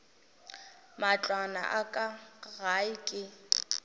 matlwana a ka gae ke